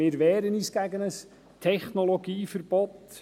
Wir wehren uns gegen ein Technologieverbot.